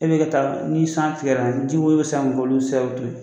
E bi ka taa ni san tigɛra jiwoyon bi san ka